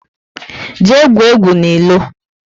Jee gwuo egwu n'ilo! 6